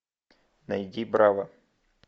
найди браво